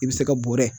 I bɛ se ka bɔrɛ